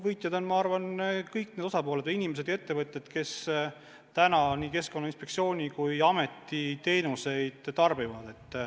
Võitjad on minu arvates kõik osapooled, nii tavalised inimesed kui ka ettevõtjad, kes Keskkonnainspektsiooni ja Keskkonnaameti teenuseid kasutavad.